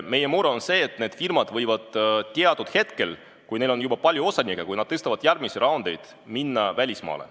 Meie mure on see, et need firmad võivad teatud hetkel, kui neil on juba palju osanikke, minna välismaale.